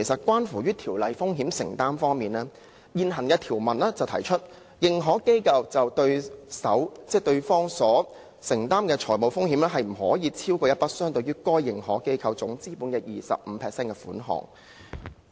關於風險承擔方面，現行的條文規定，認可機構就對手方所承擔的財務風險，不得超越一筆相等於該認可機構總資本 25% 的款額。